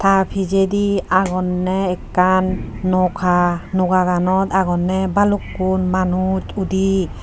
ta pijedi agonney ekkan noka nogakanot agonney balukkun manus udi.